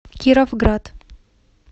кировград